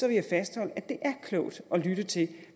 jeg fastholde at det er klogt at lytte til